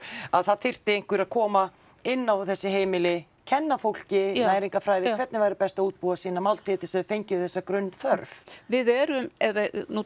að það þyrfti einhver að koma inn á þessi heimili kenna fólki næringarfræði hvernig væri best að útbúa sína máltíð til þess að þau fengju þessa grunnþörf við erum eða nú